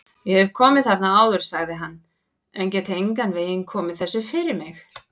Ég hef komið þarna áður sagði hann, en get engan veginn komið þessu fyrir mig